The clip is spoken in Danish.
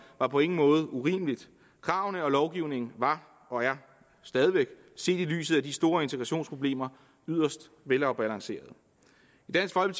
var på ingen måde urimeligt kravene og lovgivningen var og er stadig væk set i lyset af de store integrationsproblemer yderst velafbalancerede